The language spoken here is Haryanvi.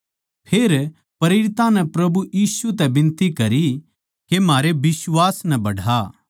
फेर प्रेरितां नै प्रभु यीशु तै बिनती करी के म्हारे बिश्वास नै बढ़ा